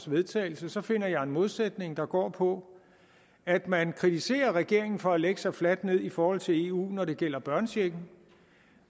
vedtagelse så finder jeg en modsætning der går på at man kritiserer regeringen for at lægge sig fladt ned i forhold til eu når det gælder børnechecken